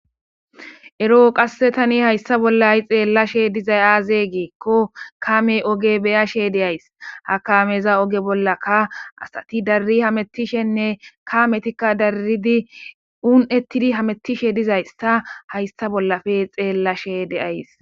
Ero tani hayisa bolla xelashe dizays aze giiko kame oge be'ashe dayis ha kameza oge bollaka asati daridi hametishenee u'ne'etidi hamutishe dizayisa be'ashe de'ays